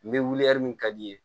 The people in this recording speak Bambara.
N bɛ wuli min ka di'i ye